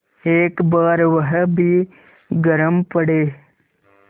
एक बार वह भी गरम पड़े